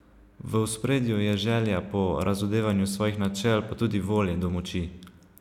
V ospredju je želja po razodevanju svojih načel, pa tudi volje do moči.